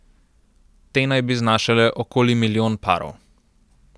Te naj bi znašale okoli milijon parov.